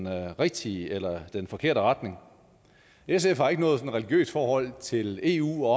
rigtige eller den forkerte retning sf har ikke noget sådan religiøst forhold til eu